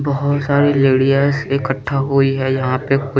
बहुत सारे लैरिअस इकठठा हुई है यहाँ पे --